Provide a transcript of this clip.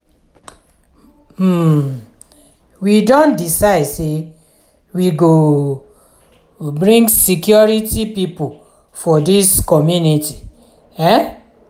um we don decide sey we go um bring security pipo for dis community. um